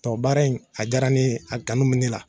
Tubabu baara in , a diyara ne ye, a kanu bɛ ne la.